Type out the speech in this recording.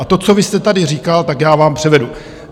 A to, co vy jste tady říkal, tak já vám převedu.